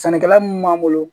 Sɛnɛkɛla mun b'an bolo